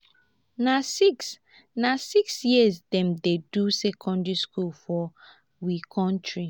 na six na six years dem dey do secondary school for we country.